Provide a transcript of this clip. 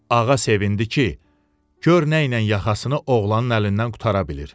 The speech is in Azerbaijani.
Ağa sevindi ki, gör nəylə yaxasını oğlanın əlindən qurtara bilir.